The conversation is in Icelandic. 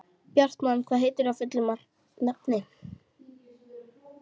Bjartmann, hvað heitir þú fullu nafni?